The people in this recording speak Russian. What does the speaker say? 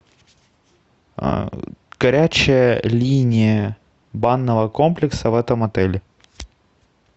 горячая линия банного комплекса в этом отеле